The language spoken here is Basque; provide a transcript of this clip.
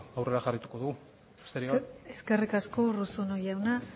aurrera jarraituko dugu besterik gabe eskerrik asko urruzuno jauna